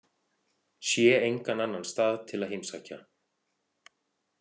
Sé engan annan stað til að heimsækja.